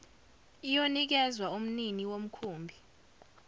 iyonikezwa umnini womkhumbi